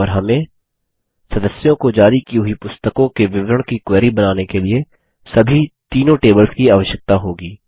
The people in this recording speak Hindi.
और हमें सदस्यों को जारी की हुई पुस्तकों के विवरण की क्वेरी बनाने के लिए सभी तीनों टेबल्स की आवश्यकता होगी